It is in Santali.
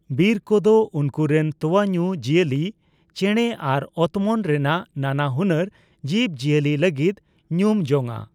ᱵᱤᱨ ᱠᱚᱫᱚ ᱩᱱᱠᱩᱨᱮᱱ ᱛᱚᱣᱟᱧᱩ ᱡᱤᱭᱟᱹᱞᱤ, ᱪᱮᱲᱮ ᱟᱨ ᱚᱛᱢᱚᱱ ᱨᱮᱱᱟᱜ ᱱᱟᱱᱟᱦᱩᱱᱟᱹᱨ ᱡᱤᱵᱽᱼᱡᱤᱭᱟᱹᱞᱤ ᱞᱟᱹᱜᱤᱫ ᱧᱩᱢᱡᱚᱝᱼᱟ ᱾